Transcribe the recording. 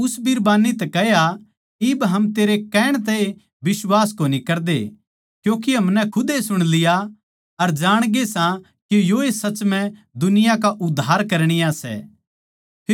अर उस बिरबान्नी तै कह्या इब हम तेरे कहण तए बिश्वास कोनी करदे क्यूँके हमनै खुदे सुण लिया अर जाणगे सा के योए साच्चए म्ह दुनिया का उद्धार करणीया सै